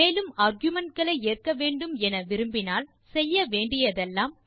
மேலும் ஆர்குமென்ட் களை ஏற்க வேண்டும் என விரும்பினால் செய்ய வேண்டியதெல்லாம்